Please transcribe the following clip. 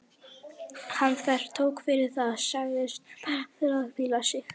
Hann þvertók fyrir það, sagðist bara þurfa að hvíla sig.